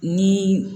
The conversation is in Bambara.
Ni